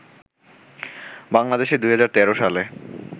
বাংলাদেশে ২০১৩ সালে